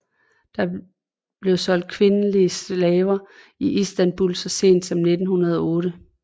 Der blev solgt kvindelige slaver i Istanbul så sent som i 1908